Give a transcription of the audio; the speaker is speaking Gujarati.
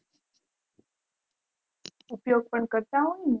ઉપયોગ પન કરતા હોય ને